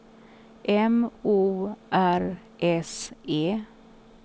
M O R S E